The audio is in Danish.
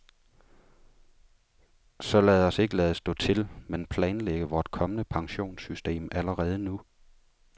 Så lad os ikke lade stå til, men planlægge vort kommende pensionssystem allerede nu.